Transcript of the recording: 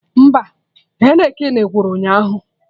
Mba, Heineken gwụrụ ụnyaahụ